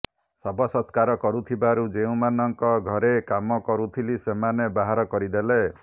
ଶବ ସତ୍କାର କରୁଥିବାରୁ ଯେଉଁମାନଙ୍କ ଘରେ କାମ କରୁଥିଲି ସେମାନେ ବାହାର କରିଦେଲେ